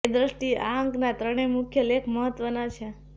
એ દ્રષ્ટિએ આ અંકના ત્રણેય મુખ્ય લેખ મહત્વના છે